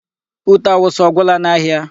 Ute awụsa ọ gwụla n'ahịa?